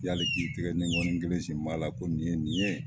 Yali k'i tigɛ ni nkɔni kelen sin m'a la ko nin ye nin ye.